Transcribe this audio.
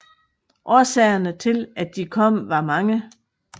Årsagerne til at de kom var mange